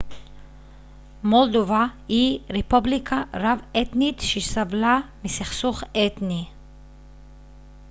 מולדובה היא רפובליקה רב-אתנית שסבלה מסכסוך אתני